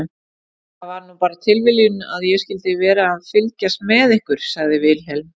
Það var nú bara tilviljun að ég skyldi vera að fylgjast með ykkur, sagði Vilhelm.